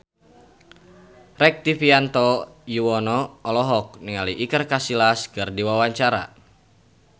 Rektivianto Yoewono olohok ningali Iker Casillas keur diwawancara